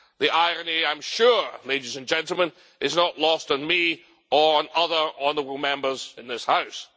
The irony, I am sure, ladies and gentlemen, is not lost on me, or on other honourable Members in this House.